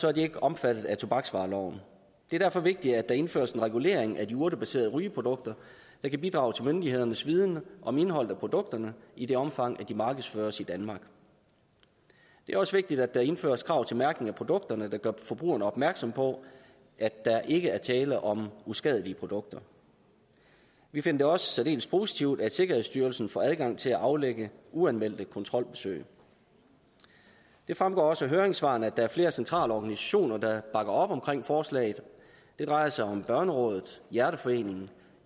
er de ikke omfattet af tobaksvareloven det er derfor vigtigt at der indføres en regulering af de urtebaserede rygeprodukter der kan bidrage til myndighedernes viden om indholdet af produkterne i det omfang de markedsføres i danmark det er også vigtigt at der indføres krav til mærkning af produkterne der gør forbrugerne opmærksom på at der ikke er tale om uskadelige produkter vi finder det også særdeles positivt at sikkerhedsstyrelsen får adgang til at aflægge uanmeldte kontrolbesøg det fremgår også af høringssvarene at der er flere centrale organisationer der bakker op om forslaget det drejer sig om børnerådet hjerteforeningen